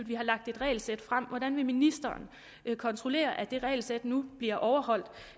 vi har lagt et regelsæt frem hvordan vil ministeren kontrollere at det regelsæt nu bliver overholdt